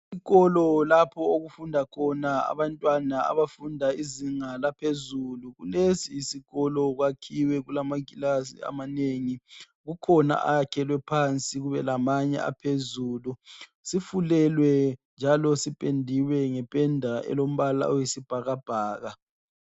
Isikolo lapho okufundakhona abantwana abafunda izinga laphezulu kulesi isikolo kwakhiwe kulama class amanengi kukhona ayakhelwe phansi kubelamanye aphezulu sifulelwe njalo sipendiwe ngependa elombala oyisibhakabhaka